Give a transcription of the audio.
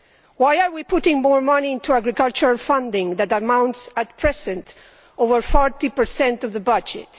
Why are we putting more money into agricultural funding that amounts, at present, to over 40 per cent of the budget?